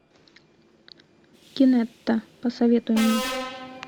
кинетта посоветуй мне